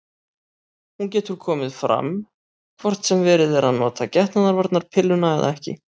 Hún getur komið fram hvort sem verið er að nota getnaðarvarnarpilluna eða ekki.